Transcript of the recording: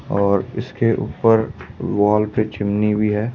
और इसके ऊपर वॉल पे चिमनी भी है।